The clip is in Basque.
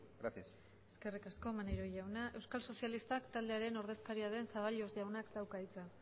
gracias eskerrik asko maneiro jauna euskal sozialistak taldearen ordezkaria den zaballos jaunak dauka hitza